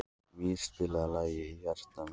Mír, spilaðu lagið „Í hjarta mér“.